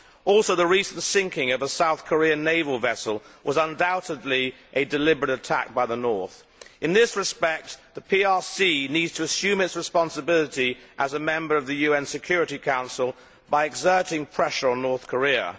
Also the recent sinking of a South Korean naval vessel was undoubtedly a deliberate attack by the North. In this respect, the PRC needs to assume its responsibility as a member of the UN Security Council by exerting pressure on North Korea.